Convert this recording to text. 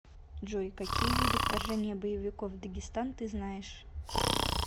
джой какие виды вторжение боевиков в дагестан ты знаешь